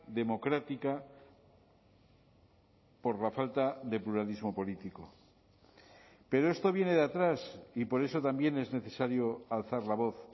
democrática por la falta de pluralismo político pero esto viene de atrás y por eso también es necesario alzar la voz